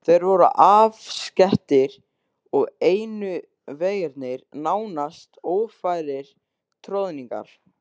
Þeir voru afskekktir og einu vegirnir nánast ófærir troðningar.